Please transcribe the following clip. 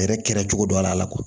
Yɛrɛ kɛra cogo dɔ la kuwa